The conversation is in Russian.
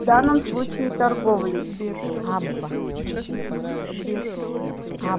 в данном случае торговлей